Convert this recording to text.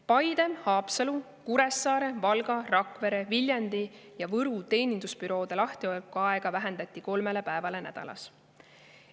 Paide, Haapsalu, Kuressaare, Valga, Rakvere, Viljandi ja Võru teenindusbüroode lahtiolekuaega vähendati kolmele päevale nädalas.